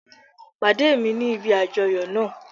Pàdé mi ní ibi àjoyo náa